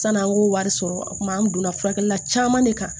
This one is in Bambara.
San'an k'o wari sɔrɔ a kuma an donna furakɛlila caman de kan